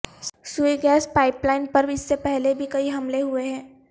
سوئی gas pipeline پر اس سے پہلے بھی کئی حملے ہوئے ہیں